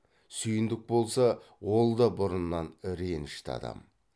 сүйіндік болса ол да бұрыннан ренішті адам